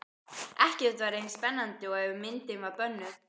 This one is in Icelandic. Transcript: Ekkert var eins spennandi og ef myndin var bönnuð.